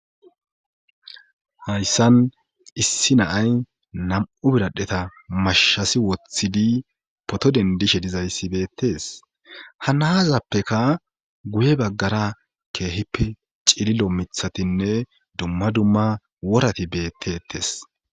hayssan issi naay nam'u biradheta mashasi wothidi poto dendishe dizayssi beettes ha naazappeka guye baggara keehippe cililo mithatinne dumma dumma worati beettettes